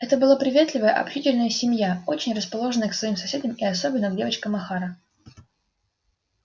это была приветливая общительная семья очень расположенная к своим соседям и особенно к девочкам охара